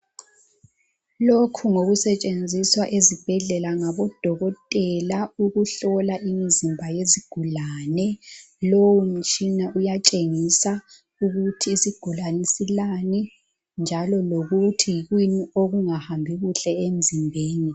Lokhu ngokusetshenziswa ezibhedlela ngabo dokotela ukuhlola imzimba yezigulane lowu mtshina uyatshengisa ukuthi isigulane silani njalo lokuthi yikuyini okungahambi kuhle emzimbeni.